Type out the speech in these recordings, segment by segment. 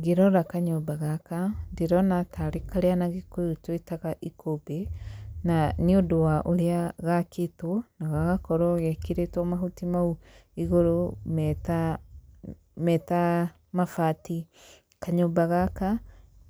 Ngĩrora kanyũmba gaka, ndĩrona tarĩ karĩa na gĩkũyũ twĩtaga ikũmbĩ, na nĩ ũndũ wa ũrĩa gakĩtwo, na gagakorwo gekĩrĩtwo mahuti mau igũrũ meta meta mabati, kanyũmba gaka,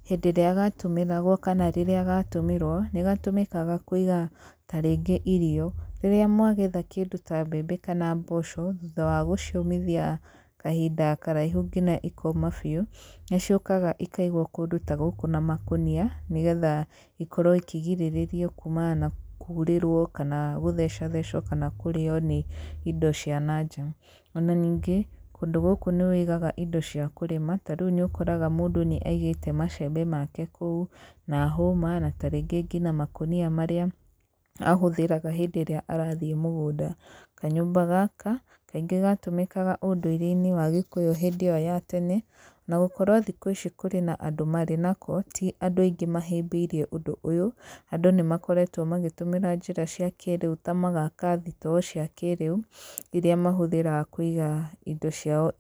hĩndĩ ĩrĩa gatũmĩragwo kana rĩrĩa gatũmĩrwo nĩ gatũmĩkaga kũiga ta rĩngĩ irio, rĩrĩa mwagetha kĩndũ ta mbembe kana mboco, thutha wa gũciũmithia kahinda karaihu nginya ikoma biũ, nĩ ciũkaga ikaigwo kũndũ ta gũkũ na makũnia, nĩgetha ikorwo ikĩgirĩrĩrio kuumana na kurĩrwo kana gũthecathecwo kana kũrĩo nĩ indo cia nanja, ona ningĩ kũndũ gũkũ nĩ ũigaga indo cia kũrĩma, ta rĩu nĩ ũkoraga mũndũ nĩ aigĩte macembe make kũu, na hũma na ta rĩngĩ nginya makũnia marĩa ahũthĩraga hĩndĩ ĩrĩa arathiĩ mũgũnda, kanyũmba gaka kaingĩ gatũmĩkaga ũndũire-inĩ wa gĩkũyũ hĩndĩ ĩyo ya tene, ona gũkorwo thikũ ici kũrĩ andũ marĩ nako, ti andũ aingĩ mahĩmbĩirie ũndũ ũyũ, andũ nĩ makoretwo magĩtũmĩra njĩra cia kĩrĩu ta magaka thitoo cia kĩrĩu, iria mahuthĩraga kũiga indo ciao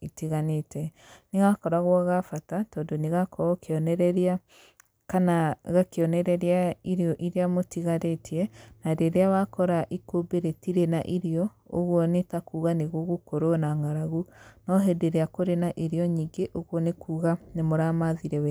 itiganĩte, nĩ gakoragwo ga bata, tondũ nĩ gakoragwo kĩonereria kana gakĩonereria irio iria mũtigarĩtie, na rĩrĩa wakora ikũmbĩ rĩtirĩ na irio, ũguo nĩ takuuga nĩ gũgũkorwo na ng'aragu, no hĩndĩ ĩrĩa kũrĩ na irio nyingĩ, ũguo nĩ kuuga nĩ mũramathire wega.